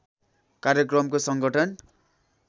कार्यक्रमको सङ्गठन